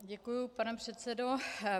Děkuji, pane předsedo.